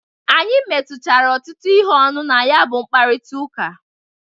Anyị metuchara ọtụtu ihe ọnụ na ya bụ mkparita ụka.